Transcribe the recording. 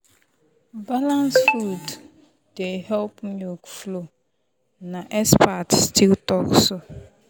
balanced food dey help milk flow na expert still talk so.